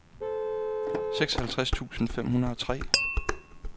seksoghalvtreds tusind fem hundrede og tre